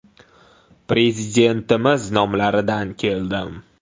“Prezidentimiz nomlaridan keldim.